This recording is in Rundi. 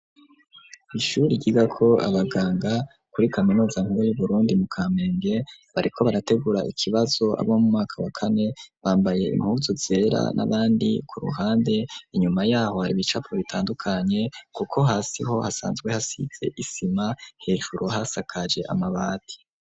Ishuri, ryigako abaganga, kuri kaminuza nkuru y'Uburundi, mu kamenge, bariko barategura ikibazo, abo mu mwaka wa kane; bambaye impuzu zera, n'abandi ku ruhande; inyuma y'aho, hari ibicapo bitandukanye, kuko hasi ho, hasanzwe hasize isima, hejuru hasakaje amabati.